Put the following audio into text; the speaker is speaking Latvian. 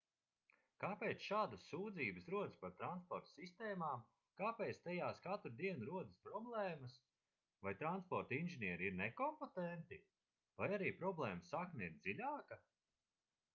kāpēc šādas sūdzības rodas par transporta sistēmām kāpēc tajās katru dienu rodas problēmas vai transporta inženieri ir nekompetenti vai arī problēmas sakne ir dziļāka